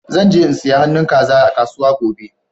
Zan je in siya han'nu kaza a kasuwa gobe.